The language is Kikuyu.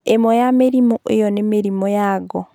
ĩmwe ya mĩrimũ ĩyo nĩ mĩrimu ya ngo